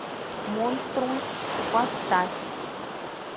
монструм поставь